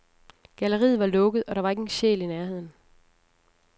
Galleriet var lukket, og der var ikke en sjæl i nærheden.